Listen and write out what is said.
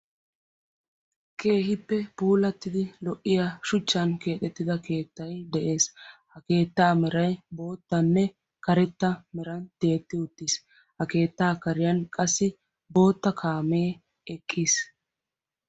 keehippe puulatidi shuchchan kexetida keettay dees. ha keetta meray boottanne karetta meran tiyetti utiis, ha keetta karen qassi bootta kaamee eqqi uttiis.